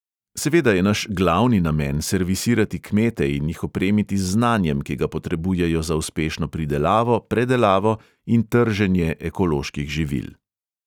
Seveda je naš glavni namen servisirati kmete in jih opremiti z znanjem, ki ga potrebujejo za uspešno pridelavo, predelavo in trženje ekoloških živil.